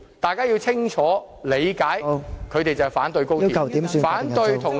大家要清楚理解，他們是反對高鐵，反對任何與內地的合作......